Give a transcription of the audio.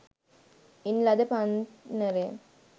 ඉන් ලද පන්නරය